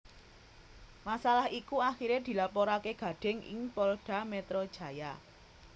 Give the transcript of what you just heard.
Masalah iku akhiré dilaporaké Gading ing Polda Metro Jaya